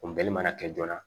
Funteni mana kɛ joona